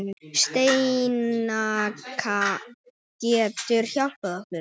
Steinka getur hjálpað okkur